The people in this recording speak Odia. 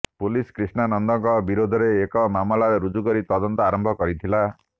ପୁଲିସ୍ କ୍ରିଷ୍ଣା ନନ୍ଦଙ୍କ ବିରୋଧରେ ଏକ ମାମଲା ରୁଜୁ କରି ତଦନ୍ତ ଆରମ୍ଭ କରିଥିଲା